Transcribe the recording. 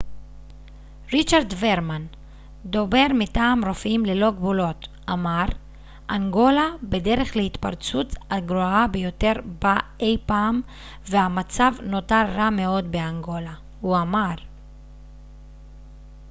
ריצ'רד ורמן דובר מטעם רופאים ללא גבולות אמר אנגולה בדרך להתפרצות הגרועה ביותר בה אי פעם והמצב נותר רע מאוד באנגולה הוא אמר